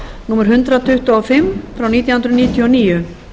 númer hundrað tuttugu og fimm nítján hundruð níutíu og níu